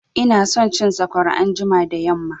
Ina son cin sakwara anjima da yamma